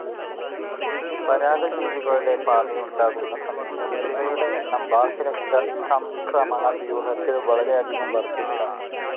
പരാദജീവികളുടെ ബാധയുണ്ടാകുന്ന സമയങ്ങളിൽ ഇവയുടെ എണ്ണം ബാഹ്യരക്തചംക്രമണ വ്യൂഹത്തിൽ വളരെയധികം വർദ്ധിക്കാം.